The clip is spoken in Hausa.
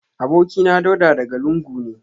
Abokina Dauda daga lungu ne